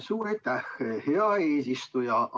Suur aitäh, hea eesistuja!